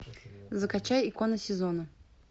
закачай икона сезона